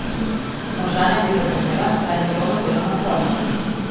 Moža naj bi razumela, saj je njegovo delo naporno.